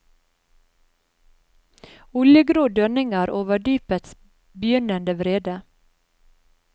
Oljegrå dønninger over dypets begynnende vrede.